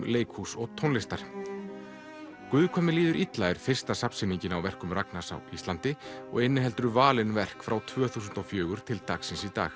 leikhúss og tónlistar guð hvað mér líður illa er fyrsta á verkum Ragnars á Íslandi og inniheldur valin verk frá tvö þúsund og fjögur til dagsins í dag